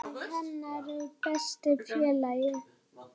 Hann var hennar besti félagi.